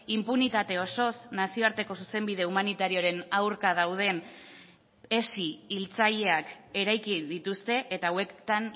inpunitate osoz nazioarteko zuzenbide humanitarioaren aurka dauden hezi hiltzaileak eraiki dituzte eta hauetan